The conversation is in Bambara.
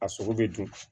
A sogo bɛ dun